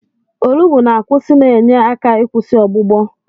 Olugbu na-akwụsị na-enye aka ịkwụsị ọgbụgbọ.